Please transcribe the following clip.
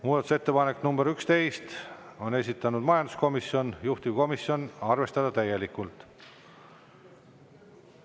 Muudatusettepanek nr 11, on esitanud majanduskomisjon, juhtivkomisjon: arvestada täielikult.